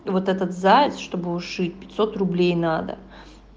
вот этот заяц чтобы ушить пятьсот рублей надо